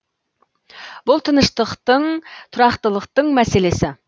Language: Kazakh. бұл тыныштықтың тұрақтылықтың мәселесі